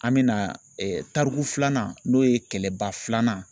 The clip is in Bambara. An bɛna tariku filanan n'o ye kɛlɛba filanan.